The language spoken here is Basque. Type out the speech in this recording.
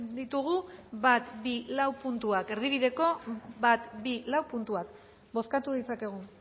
ditugu bat bi lau puntuak erdibideko bat bi lau puntuak bozkatu ditzakegu